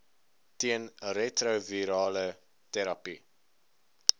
teen retrovirale terapie